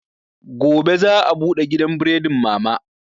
Gobe za a bude gidan buredin mama